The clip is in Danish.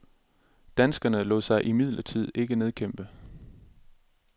Danskerne lod sig imidlertid ikke nedkæmpe.